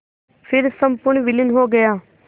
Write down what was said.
फिर संपूर्ण विलीन हो गया